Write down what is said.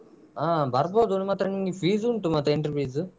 ಹಾ ಬರ್ಬೋದು ಮಾತ್ರ ನಿಮ್ಗೆ fees ಉಂಟು ಮಾತ್ರ entry fees.